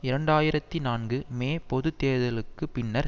இரண்டு ஆயிரத்தி நான்கு மே பொது தேர்தல்களுக்கு பின்னர்